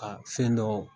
Ka fɛn dɔw